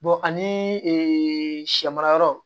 ani sɛ mara yɔrɔ